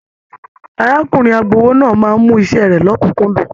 Arákùnrin agbowó náà máa mú iṣẹ rẹ l'ọkunkundun.